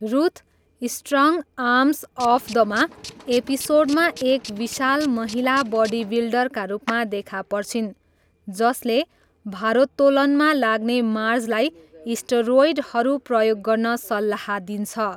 Ruth 'strong arms of the ma' एपिसोडमा एक विशाल महिला बडिबिल्डरका रूपमा देखा पर्छिन्, जसले भारोत्तोलनमा लाग्ने मार्जलाई स्टेरोइडहरू प्रयोग गर्न सल्लाह दिन्छ।